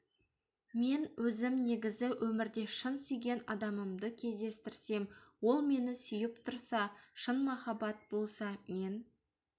мен өзім негізі өмірде шын сүйген адамымды кездестірсем ол мені сүйіп тұрса шын махаббат болса мен